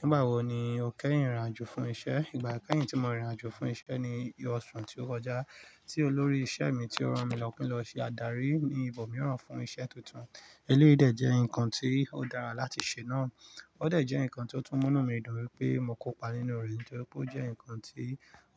Nígbà wo ni o kẹ́yìn rìnrìn àjò fún isẹ́? Ìgbà kẹ́yìn tí mo rìnrìn àjò fún isẹ́ ni oṣù tí ó kọjá, tí olórí isẹ́ mi tí ó rán mi lọ kin lọ ṣe adarí ní ibòmíràn fún iṣẹ́ tuntun. Eléyii dẹ̀ jẹ́ nǹkan tí ó dára láti ṣe náà. Ó dẹ̀ jẹ́ nǹkan tí ó tún múnú mi dùn wípé mo kópa nínú rẹ̀ nítorí pé ó jẹ́ nǹkan tí